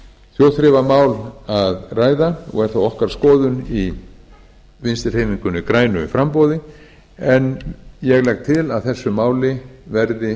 þjóðþrifamál að ræða og er það okkar skoðun í vinstri hreyfingunni grænu framboði ég legg til að þessu máli verði